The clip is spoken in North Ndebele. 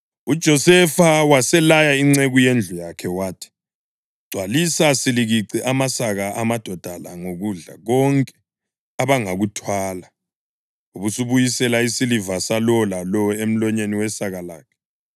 UJosefa waselaya inceku yendlu yakhe wathi: “Gcwalisa silikici amasaka amadoda la ngokudla konke abangakuthwala, ubusubuyisela isiliva salowo lalowo emlonyeni wesaka lakhe.